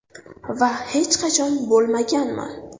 Va hech qachon bo‘lmaganman.